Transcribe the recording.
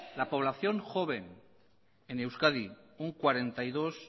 la población joven en euskadi un cuarenta y dos